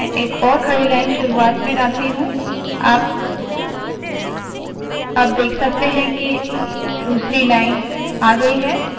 मैं एक और खड़ी लाइन शुरुवात में डालती हूँ आप देख सकते है के दूसरी लाइन आ गयी है